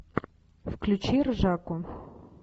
включи ржаку